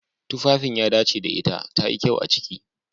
Tufafin ya dace da ita. tayi kyau a ciki.